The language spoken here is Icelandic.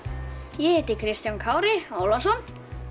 ég heiti Kristján Kári Ólafsson